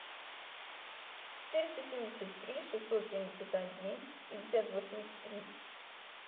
четыреста семьдесят три шестьсот семьдесят один пятьдесят восемьдесят три